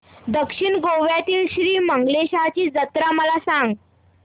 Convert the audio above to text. दक्षिण गोव्यातील श्री मंगेशाची जत्रा मला सांग